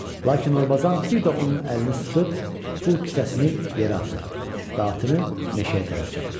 Lakin Orbazan bir də onun əlini sıxıb pul kisəsini yerə atır və atını meşəyə tərəf çapır.